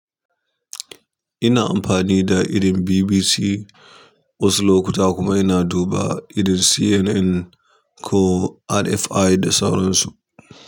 Ina amfani da irin BBC wasu lokuta kuma ina duba irin CNN ko RFI da sauran su.